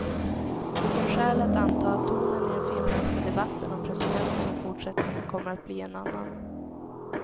Det finns skäl att anta att tonen i den finländska debatten om presidenten i fortsättningen kommer att bli en annan.